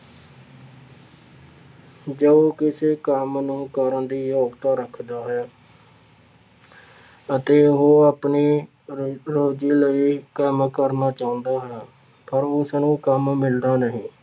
ਜੋ ਕਿਸੇ ਕੰਮ ਨੂੰ ਕਰਨ ਦੀ ਯੋਗਤਾ ਰੱਖਦਾ ਹੈ। ਅਤੇ ਉਹ ਆਪਣੀ ਰੋਜ਼ ਰੋਜ਼ੀ ਲਈ ਕੰਮ ਕਰਨਾ ਚਾਹੁੰਦਾ ਹੈ। ਪਰ ਉਸਨੂੰ ਕੰਮ ਮਿਲਦਾ ਨਹੀਂ।